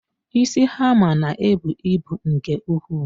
Isi hammer ná-ebu ịbụ nke ukwuu.